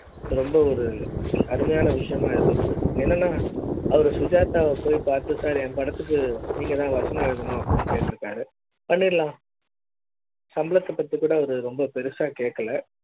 ரொம்ப ஒரு அருமையான விஷயம் இருந்தது என்னன்னா அவரு சுஜாதா போய் பார்த்துருக்காரு என் படத்துக்கு நீங்க தான் வசனம் எழுதணும் அப்படின்னு கேட்டு ருக்காரு பண்ணிடலாம் சம்பளத்தை பத்திக் கூட ரொம்ப பெருசா கேக்கல